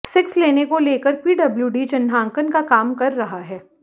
six lane को लेकर PWD चिन्हांकन का काम कर रहा है